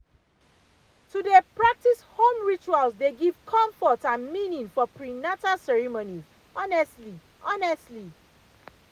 to dey practice home rituals dey give comfort and meaning for prenatal ceremonies honestly honestly